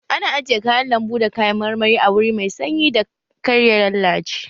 Ana ajiye kayan lanbu da kayan marmari a wuri mai sanyi dan kar ya lallace